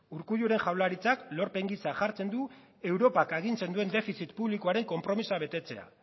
urkulluren jaurlaritzak lorpen gisa jartzen du europak agintzen duen defizit publikoaren konpromisoa betetzea